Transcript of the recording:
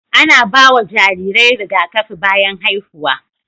Ana ba wa jarirai rigakafi bayan haihuwa.